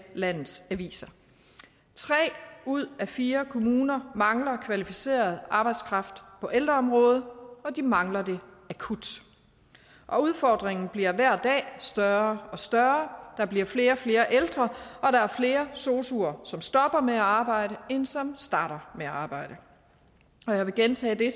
landets aviser tre ud af fire kommuner mangler kvalificeret arbejdskraft på ældreområdet og de mangler den akut og udfordringen bliver hver dag større og større der bliver flere og flere ældre og der er flere sosuer som stopper med at arbejde end som starter med at arbejde jeg vil gentage det